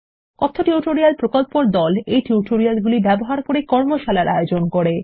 কথ্য টিউটোরিয়াল প্রকল্প দল কথ্য টিউটোরিয়ালগুলি ব্যবহার করে কর্মশালার আয়োজন করে